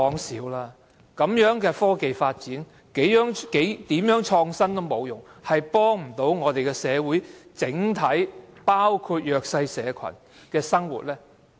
這樣的科技發展，如何創新也沒有用處，不能幫助整體社會，不能改善弱勢社群的生活。